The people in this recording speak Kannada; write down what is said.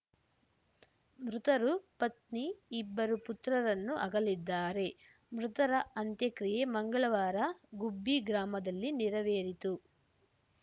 ಮೃತರು ಪತ್ನಿ ಇಬ್ಬರು ಪುತ್ರರನ್ನು ಆಗಲಿದ್ದಾರೆ ಮೃತರ ಅಂತ್ಯಕ್ರಿಯೆ ಮಂಗಳವಾರ ಗುಬ್ಬಿ ಗ್ರಾಮದಲ್ಲಿ ನೆರವೇರಿತು